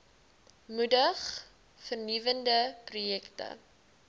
moedig vernuwende projekte